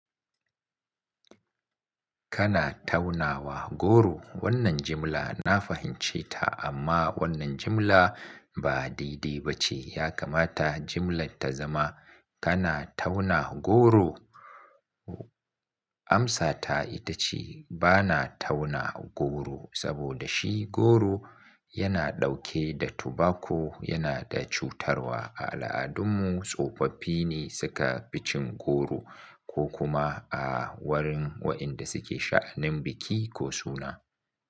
Kana taunawa goro? Wannan jimla na fahimce ta amma wannan jimla ba daidai ba ce. Ya kamata jimlar ta zama kana tauna goro? Amsata ita ce bana tauna goro saboda shi goro yana ɗauke da tobacco yana da cutarwa. A al'adunmu tsofaffi ne suka fi cin goro ko kuma a wurin waɗanda suke sha'anin biki ko suna.